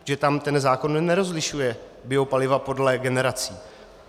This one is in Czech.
Protože tam ten zákon nerozlišuje biopaliva podle generací.